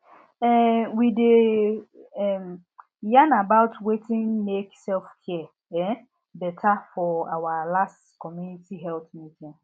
um we dey um yarn about wetin make selfcare um beta for our last community health meeting